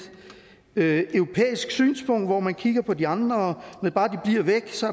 europæisk synspunkt hvor man kigger på de andre